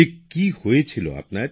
ঠিক কি হয়েছিল আপনার